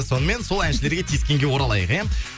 сонымен сол әншілерге тиіскенге оралайық иә